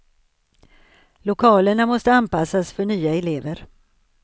Lokalerna måste anpassas för nya elever.